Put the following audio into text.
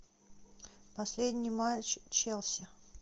последний матч челси